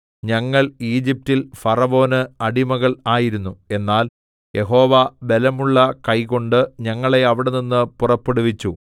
ഞങ്ങൾ ഈജിപ്റ്റിൽ ഫറവോന് അടിമകൾ ആയിരുന്നു എന്നാൽ യഹോവ ബലമുള്ള കൈകൊണ്ട് ഞങ്ങളെ അവിടെനിന്ന് പുറപ്പെടുവിച്ചു